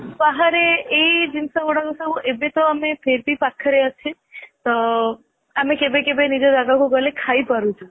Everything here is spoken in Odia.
ବାହାରେ ଏଇ ଜିନିଷ ଗୁଡା ସବୁ ଏବେ ତ ଆମେ ପାଖରେ ଅଛେ ତ ଆମେ କେବେ କେବେ ନିଜ ଜାଗା କୁ ଗଲେ ଖାଇ ପାରୁଛୁ